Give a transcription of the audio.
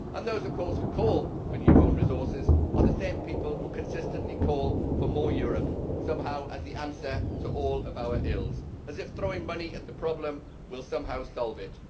And, of course, those who call for new own resources are the same people who consistently call for more Europe, somehow as the answer to all of our ills, as if throwing money at the problem will somehow solve it.